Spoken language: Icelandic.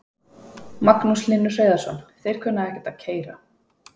Magnús Hlynur Hreiðarsson: Þeir kunna ekkert að keyra?